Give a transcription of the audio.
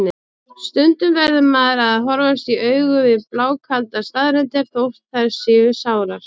Stundum verður maður að horfast í augu við blákaldar staðreyndir, þótt þær séu sárar.